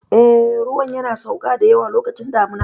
Eh, ruwan yana sauka da yawa lokacin damuna.